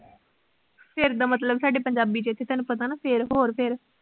ਫਿਰ ਦਾ ਮਤਲਬ ਸਾਡੇ ਪੰਜਾਬੀ ਚ ਇਥੇ ਤੁਹਾਨੂੰ ਪਤਾ ਨਾ ਫਿਰ ਹੋਰ ਫਿਰ